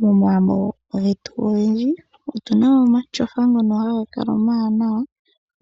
Momagumbo getu ogendji otu na mo omatyofa ngono haga kala omawanawa,